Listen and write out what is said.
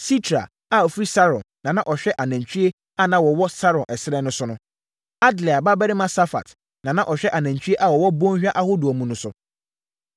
Sitrai a ɔfiri Saron na na ɔhwɛ anantwie a na wɔwɔ Saron ɛserɛ so no so. Adlai babarima Safat na na ɔhwɛ anantwie a wɔwɔ bɔnhwa ahodoɔ mu no so.